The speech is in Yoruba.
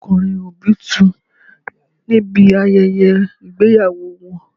Àwọn ará Òndó kọ orin Obitun níbi ayẹyẹ ìgbéyàwó wọn